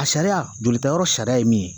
A sariya, jolita yɔrɔ sariya ye min ye.